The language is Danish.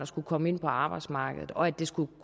skulle komme ind på arbejdsmarkedet og at det skulle